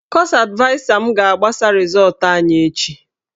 Kọọsụ advaịsa m ga-agbasa rịzọọtụ anyị echi.